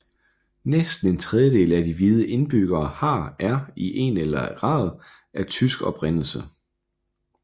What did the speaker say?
Næsten en tredjedel af de hvide indbyggere har er i en eller grad af tysk oprindelse